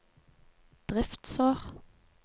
driftsår